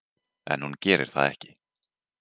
En hún gerir það ekki.